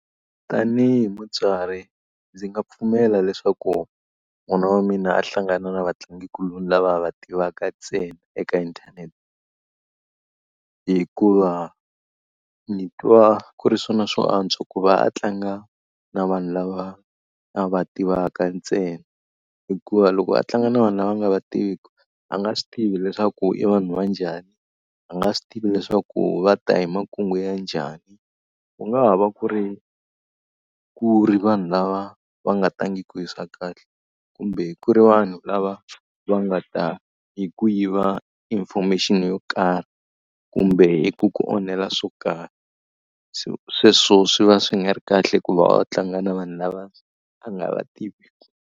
Tanihi mutswari ndzi nga pfumela leswaku n'wana wa mina a hlangana na vatlangikuloni lava a va tivaka ntsena eka inthanete. Hikuva ndzi twa ku ri swona swo antswa ku va a tlanga na vanhu lava a va tivaka ntsena. Hikuva loko a tlanga na vanhu lava nga va tiviku, a nga swi tivi leswaku i vanhu va njhani, a nga swi tivi leswaku va ta hi makungu ya njhani. Ku nga ha va ku ri ku ri vanhu lava va nga tangiki hi swa kahle, kumbe ku ri vanhu lava va nga ta hi ku yiva information yo karhi, kumbe ku ku onhela swo karhi. So sweswo swi va swi nga ri kahle ku va a tlanga na vanhu lava a nga va tiviki.